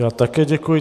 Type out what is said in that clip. Já také děkuji.